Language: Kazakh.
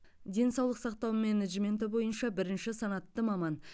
денсаулық сақтау менеджменті бойынша бірінші санатты маман